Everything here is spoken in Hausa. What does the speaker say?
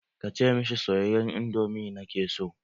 Kace mishi soyayyen indomi na ke so.